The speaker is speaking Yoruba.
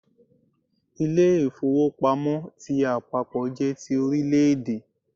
Ilé-ìfowópamọ́ ti àpapọ̀ jé ti Orílẹ̀dè